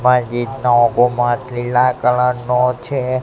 લીલા કલર નો છે.